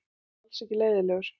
Hann er alls ekki leiðinlegur.